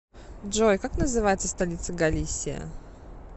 джой как называется столица галисия